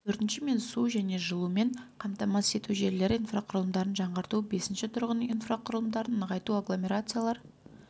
төртінші мен су және жылумен қамтамасыз ету желілері инфрақұрылымдарын жаңғырту бесінші тұрғын үй инфрақұрылымдарын нығайту агломерациялар